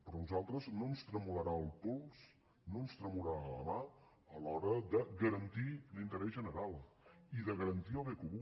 però a nosaltres no ens tremolarà el pols no ens tremolarà la mà a l’hora de garantir l’interès general i de garantir el bé comú